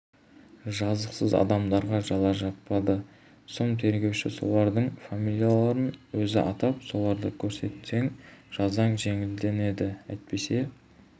жазықсыз адамдарға жала жаппады сұм тергеуші солардың фамилияларын өзі атап осыларды көрсетсең жазаң жеңілденеді әйтпесе